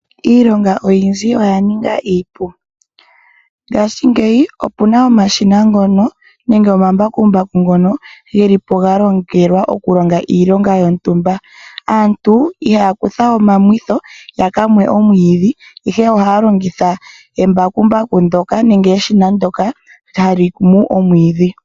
Iilonga oyindji oya ninga iipu. Ngashingeyi opuna omashina ngono nenge omambakumbaku ngono geli po galongelwa okulonga iilonga yontumba. Aantu ihaya kutha omamwitho yaka mwe omwiidhi ihe ohaya longitha embakumbaku ndyoka nenge eshina ndyoka hali mu omwiidhi.